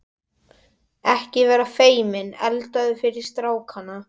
Ekki vera feiminn, eldaðu fyrir strákana.